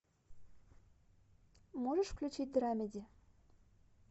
можешь включить драмеди